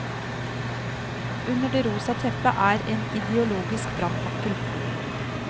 Under det rosa teppet er en ideologisk brannfakkel.